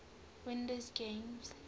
windows games